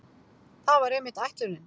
Það var einmitt ætlunin.